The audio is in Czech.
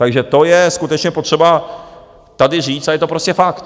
Takže to je skutečně potřeba tady říct a je to prostě fakt.